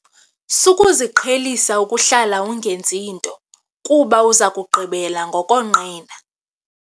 Sukuziqhelisa ukuhlala ungenzi nto kuba uza kugqibela ngokonqena.